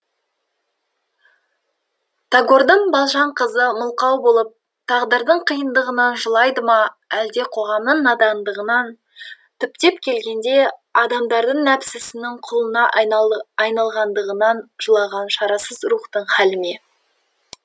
тагордың балжан қызы мылқау болып тағдырдың қиындығынан жылайды ма әлде қоғамның надандығынан түптеп келгенде адамдардың нәпсінің құлына айналғандығынан жылаған шарасыз рухтың хәлі ме